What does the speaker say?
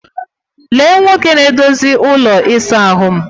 Lee Nwoke na-edozi ụlọ ịsa ahụ'm